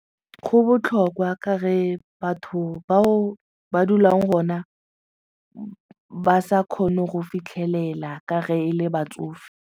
Go botlhokwa ka ge batho bao ba dulang gona ba sa kgone go fitlhelela ka ge e le batsofe.